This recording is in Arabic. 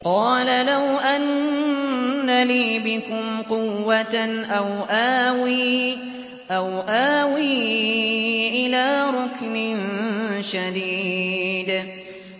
قَالَ لَوْ أَنَّ لِي بِكُمْ قُوَّةً أَوْ آوِي إِلَىٰ رُكْنٍ شَدِيدٍ